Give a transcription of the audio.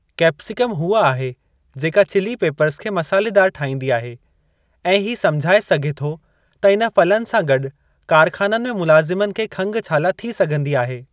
Capsicum हूअ आहे जेका चिली पैपर्स खे मसालेदार ठाहिंदी आहे, ऐं हीउ समुझाए सघे थो त इन फलुनि सां गॾु कारख़ाननि में मुलाज़मनि खे खंघि छाला थी सघिंदी आहे ।